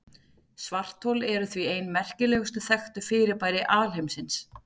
Svarthol eru því ein merkilegustu þekktu fyrirbæri alheimsins.